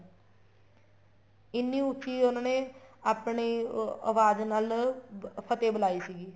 ਇੰਨੀ ਉੱਚੀ ਉਹਨਾ ਨੇ ਆਪਣੇ ਉਹ ਆਵਾਜ ਨਾਲ ਫ਼ਤਿਹ ਬੁਲਾਈ ਸੀਗੀ